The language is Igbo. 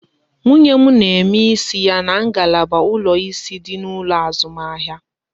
Nwunye m n'eme isi ya n'ngalaba ụlọ ịsị dị n'ụlọ azụmahịa